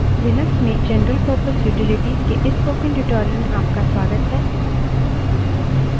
Linux में general purpose utilities के इस spoken tutorial में आपका स्वागत है